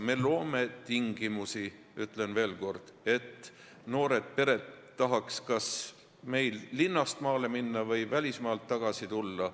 Me loome tingimusi – ütlen veel kord –, et noored pered tahaks kas linnast maale minna või välismaalt tagasi tulla.